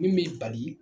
Min b'i bali